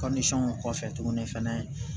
kɔfɛ tuguni fɛnɛ